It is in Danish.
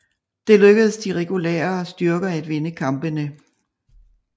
Det lykkedes de regulære styrker at vinde kampene